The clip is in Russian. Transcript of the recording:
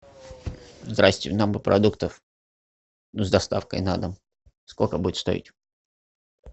здрасьте нам бы продуктов с доставкой на дом сколько будет стоить